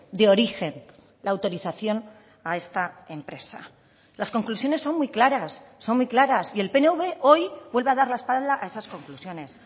de origen la autorización a esta empresa las conclusiones son muy claras son muy claras y el pnv hoy vuelve a dar la espalda a esas conclusiones